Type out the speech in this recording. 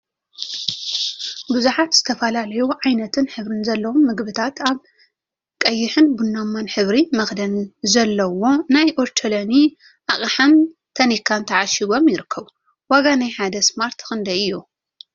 ቡዙሓት ዝተፈላለዩ ዓይነትን ሕብሪን ዘለዎም ምግቢታት አብ ቀይሕን ቡናማን ሕብሪ መክደን ዘለዎ ናይ ኦቾሎኒ አቅሓን ታኒካን ተዓሺጎም ይርከቡ፡፡ ዋጋ ናይ ሓደ ስማርት ክንደይ እዩ?